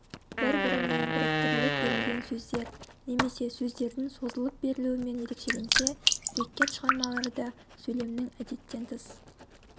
бір-біріне біріктіріліп берілген сөздер немесе сөздердің созылып берілуімен ерекшеленсе беккет шығармалары да сөйлемнің әдеттен тыс